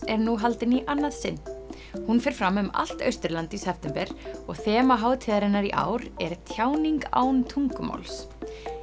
er nú haldin í annað sinn hún fer fram um allt Austurland í september og þema hátíðarinnar í ár er tjáning án tungumáls